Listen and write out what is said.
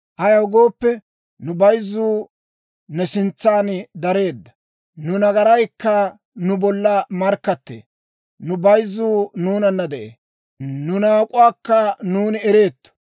Ayaw gooppe, nu bayzzuu ne sintsan dareedda; nu nagaraykka nu bolla markkattee. Nu bayzzuu nuunana de'ee; nu naak'uwaakka nuuni ereetto.